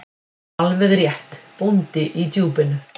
Alveg rétt: Bóndi í Djúpinu.